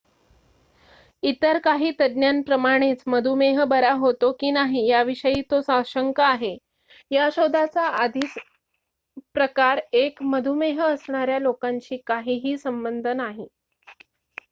इतर काही तज्ञांप्रमाणेच मधुमेह बरा होतो की नाही याविषयी तो साशंक आहे या शोधाचा आधीच प्रकार १ मधुमेह असणाऱ्या लोकांशी काही संबध नाही